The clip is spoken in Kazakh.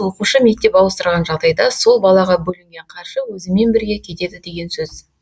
оқушы мектеп ауыстырған жағдайда сол балаға бөлінген қаржы өзімен бірге кетеді деген сөз